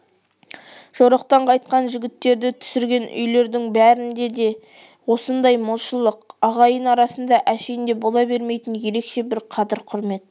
жорықтан қайтқан жігіттерді түсірген үйлердің бәрінде де осындай молшылық ағайын арасында әшейінде бола бермейтін ерекше бір қадір-құрмет